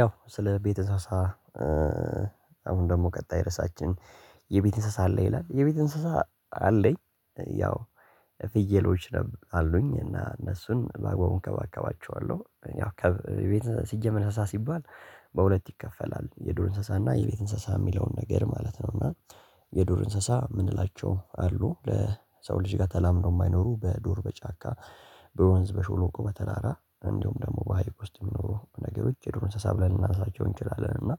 ያው ስለ ቤተሰባ አሁን ደግሞ ቀጣይ ርዕሳችን የቤት እንስሳ አለ ይላል የቤት እንስሳ አለኝ ያው ፍየሎች አሉኝ እና እነሱን ባግባቡ እንከባከባቸዋለሁ ያው ከቤት ሲጀመር እንስሳ ሲባል በሁለት ይከፈላል የዱር እንስሳና የቤት እንስሳ የሚለውን ነገር ማለት ነው። እና የዱር እንስሳ የምንላቸው አሉ ከሰው ልጅ ጋር ተላምደው የማይኖሩ በዱር በጫካ በወንዝ በሾሎቆ በተራራ እንደውም ደግሞ በሃይቅ ውስጥ የሚኖሩ ነገሮች የዱሮ እንስሳ ብለን ልናንሳቸው እንችላለን። እና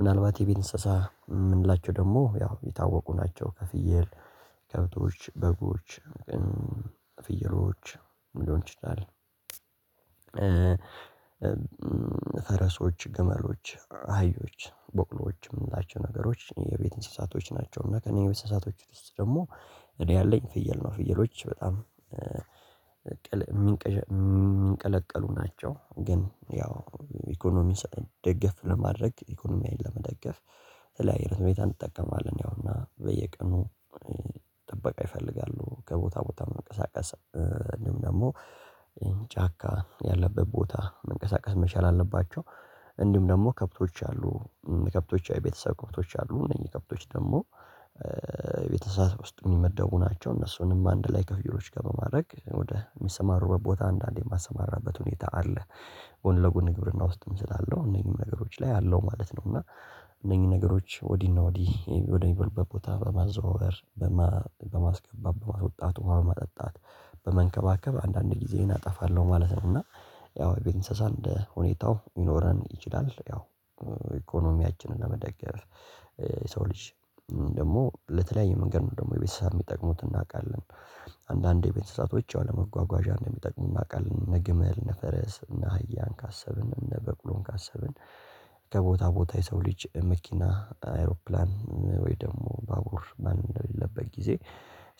ምናልባት የቤት እንስሳ የምንላቸው ደግሞ ያው የታወቁ ናቸው። ከፍየል ከብቶች በጎች ፍየሎች ምንድነው እንችላለን ፈረሶች፣ ግመሎች፣ አህዮች፣ ቦቅሎዎች የምንላቸው ነገሮች የቤት እንስሳቶች ናቸው። እና ከእኔ እንስሳቶች ውስጥ ደግሞ እኔ ያለኝ ፍየል ነው። ፍየሎች በጣም ቅል የሚንቀለቀሉ ናቸው። ግን ያው ኢኮኖሚን ደገፍ ለማድረግ ኢኮኖሚያዊን ለመደገፍ ተለያይ ህይወት ቤት እንጠቀማለን ያው እና በየቀኑ ጥበቃ ይፈልጋሉ። ከቦታ ቦታ መንቀሳቀስ እንደውም ደግሞ ጫካ ያለበት ቦታ መንቀሳቀስ መቻል አለባቸው። እንዲሁም ደግሞ ከብቶች አሉ ከብቶች አይ ቤተሰብ ከብቶች አሉ እነዚህ ከብቶች ደግሞ ቤት እንስሳት ውስጥ የሚመደቡ ናቸው። እነሱንም አንድ ላይ ከፍየሎች ጋር በማድረግ ወደ የሚሰማሩበት ቦታ አንዳንዴ የማሰማራበት ሁኔታ አለ። ጎን ለጎን ግብርና ውስጥም ስላለው እነኚህም ነገሮች ላይ አለው ማለት ነው። እና እነኚህ ነገሮች ወዲህ እና ወዲህ ወደሚበሉበት ቦታ በማዘዋወር በማስገባት በማውጣት ውሃ በማጠጣት በመንከባከብ አንዳንድ ጊዜዬን አጠፋለሁ ማለት ነው። እና ያው ቤት እንስሳ እንደ ሁኔታው ይኖረን ይችላል። ያው ኢኮኖሚያችንን ለመደገፍ የሰው ልጅ ደግሞ ለተለያየ መንገድ ነው ደግሞ የቤተሰብ የሚጠቅሙት እናውቃለን። አንዳንዴ የቤት እንስሳቶች ያው ለመጓጓዣ እንደሚጠቅሙእናውቃለን እነግመል፣ እነነፈረስ፣ እነአህያን ካሰብን እነበቅሎን ካሰብን ከቦታ ቦታ የሰው ልጅ መኪና አይሮፕላን ወይ ደግሞ ባቡር ማን እንደሌለበት ጊዜ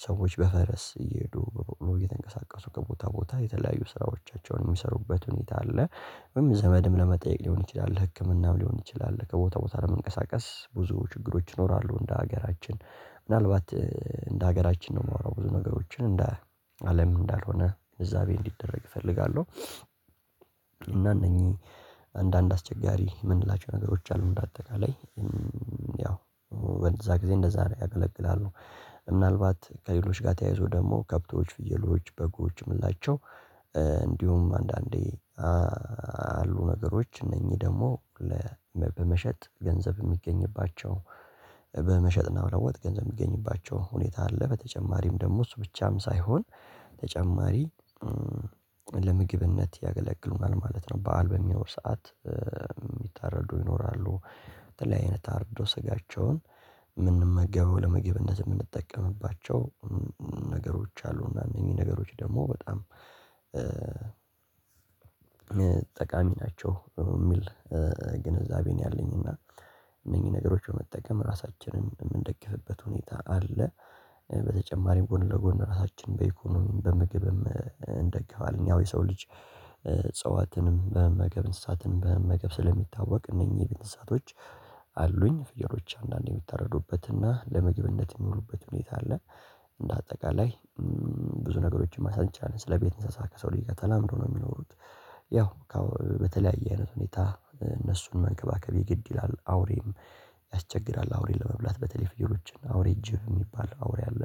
ሰዎች በፈረስ እየሄዱ በበቅሎ እየተንቀሳቀሱ ከቦታ ቦታ የተለያዩ ስራዎቻቸውን የሚሰሩበት ሁኔታ አለ። ወይም ዘመድም ለመጠየቅ ሊሆን ይችላል ህክምናም ሊሆን ይችላል ከቦታ ቦታ ለመንቀሳቀስ ብዙ ችግሮች ይኖራሉ እንደ ሀገራችን ምናልባት እንደ ሀገራችን ነው የምወራው ብዙ ነገሮችን እንደ እንዳለም እንዳልሆነ እዛቤ እንዲደረግ እፈልጋለሁ። እና እነኚህ አንዳንድ አስቸጋሪ የምንላቸው ነገሮች አሉ። በአጠቃላይ ያው በዛ ጊዜ እንደዛ ነው ያገለግላሉ። ምናልባት ከሌሎች ጋር ተያይዞ ደግሞ ከብቶች ፍየሎች በጎችም የምላቸው እንዲሁም አንዳንዴ አሉ ነገሮች እነኚህ ደግሞ በመሸጥ ገንዘብ የሚገኝባቸው በመሸጥና በለወጥ ገንዘብ የሚገኝባቸው ሁኔታ አለ። በተጨማሪም ደግሞ እሱ ብቻም ሳይሆን ተጨማሪ ለምግብነት ያገለግሉናል ማለት ነው። በዓል በሚኖር ሰዓት የሚታረዱ ይኖራሉ። በተለይ አይነት አርዶ ስጋቸውን የምንመገበው ለምግብነት የምንጠቀምባቸው ነገሮች አሉ አሉና እነኚህ ነገሮች ደግሞ በጣም ጠቃሚ ናቸው። የሚል ኝዛቤ ነው ያለኝ። እና እነኚህ ነገሮች በመጠቀም ራሳችንን የምንደግፍበት ሁኔታ አለ። በተጨማሪም ጎን ለጎን ራሳችን በኢኮኖሚም በምግብም እንደግፋለን። ያው የሰው ልጅ እጽዋትን በመመገብ እንስሳትንም በመመገብ ስለሚታወቅ እነኚህ የቢት እንስሳቶች አሉኝ ፍየሎች አንዳንዴ የምታረዱበትና ለምግብነት የሚሉበት ሁኔታ አለ። እንደ አጠቃላይ ብዙ ነገሮችን ማንሳት እንችላለን ስለቤት እንሳሳ ከሰው ልጅ ጋር ተላምዶ ነው የሚኖሩት። ያው በተለያየ አይነት ሁኔታ እነሱን መንከባከብ የግድ ይላል አውሬም ያስቸግራል አውሬን ለመብላት በተለይ ፍየሎችን አውሬ ጅብየሚባል አውሬ አለ።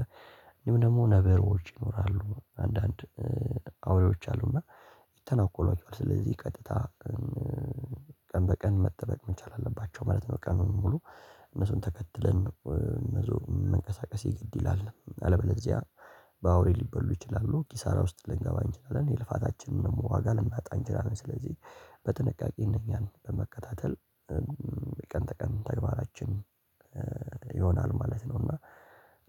ደግሞ ነብሮች ይኖራሉ አንዳንድ አውሬዎች አሉና ይተናኮሏቸዋል ስለዚህ ቀጥታ ቀን በቀን መጠበቅ መቻል አለባቸው ማለት ነው። ቀኑን ሙሉ እነሱን ተከትለን እነሱ መንቀሳቀስ የግድ ይላል። አለበለዚያ በአውሬ ሊበሉ ይችላሉ ኪሳራ ውስጥ ልንገባ እንችላለን። የልፋታችንን ዋጋ ልናጣ እንችላለን። ስለዚህ በጥንቃቄ እነኛን በመከታተል የቀን ተቀን ተግባራችን ይሆናል ማለት ነው። እና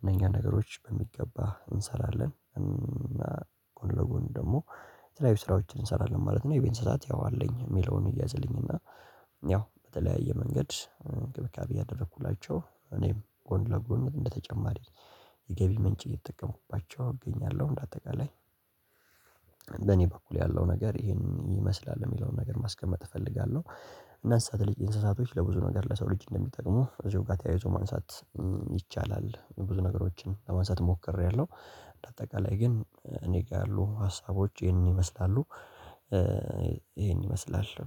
እነኛ ነገሮች በሚገባ እንሰራለን። ጎን ለጎን ደግሞ የተለያዩ ስራዎችን እንሰራለን ማለት ነው። የቤት እንስሳት ያው አለኝ የሚለውን ይያዝልኝ እና ያው በተለያየ መንገድእንክብካቤ እያደረኩላቸው እኔም ጎን ለጎን እንደተጨማሪ የገቢ ምንጭ እየተጠቀሙባቸው እገኛለሁ። እንደ አጠቃላይ በኔ በኩል ያለው ነገር ይሄን ይመስላል የሚለውን ነገር ማስቀመጥ እፈልጋለሁ። እንስሳት ልጅ እንስሳቶች ለብዙ ነገር ለሰው ልጅ እንደሚጠቅሙ እዚሁ ጋር ተያይዞ ማንሳት ይቻላል። ብዙ ነገሮችን ለማንሳት ሞክሬያለሁ። በአጠቃላይ ግን እኔ ጋር ያሉ ሀሳቦች ይሄንን ይመስላሉ። ይሄንን ይመስላል